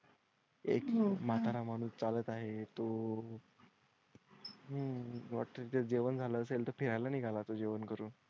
एक माता म्हणून चालत आहे तो. हम्म तेच जेवण झालं असेल तर फिरायला निघाला तो जेवण करून.